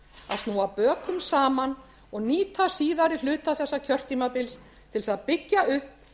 að snúa bökum saman og nýta síðari hluta þessa kjörtímabils til þess að byggja upp